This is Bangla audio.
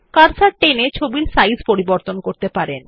কার্সার টেনে ছবিটির সাইজ পরিবর্তন করতে পারেন